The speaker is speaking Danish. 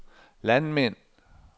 landmænd